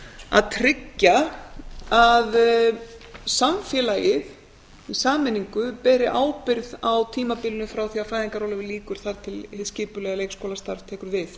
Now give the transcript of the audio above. að tryggja að samfélagið í sameiningu beri ábyrgð á því tímabilinu frá því að fæðingarorlofi lýkur þar til hið skipulega leikskólastarf tekur við